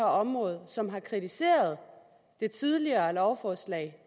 område og som har kritiseret det tidligere lovforslag